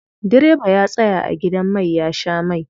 Direba ya tsaya a gidan mai ya sha mai.